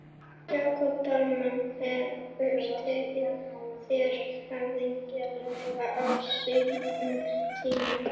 Jakob Dalmann hefur tekið þér höfðinglega á sínum tíma?